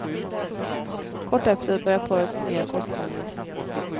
Kort efter började parets nya kosthållning.